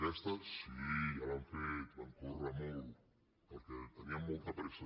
aquesta sí ja l’han fet van córrer molt perquè tenien molta pressa